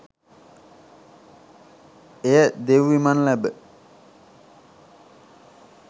එය දෙව් විමන් ලැබ